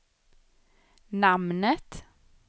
namnet